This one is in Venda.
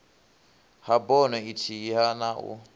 ha bono ithihi na u